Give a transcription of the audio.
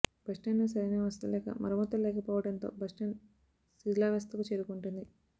బస్టాండ్లో సరైన వసతులు లేక మరమ్మతులు లేకపోవడంతో బస్టాండ్ శిథిలావస్థకు చేరుకుంటుంది